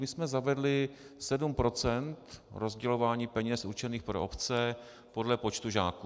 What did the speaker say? My jsme zavedli 7 % rozdělování peněz určených pro obce podle počtu žáků.